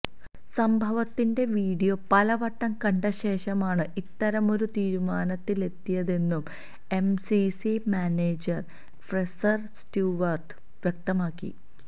സംഭവത്തിന്റെ വീഡിയോ പലവട്ടം കണ്ടശേഷമാണ് ഇത്തരമൊരു തീരുമാനത്തിലെത്തിയതെന്നും എംസിസി മാനേജര് ഫ്രേസര് സ്റ്റ്യുവര്ട്ട് വ്യക്തമാക്കി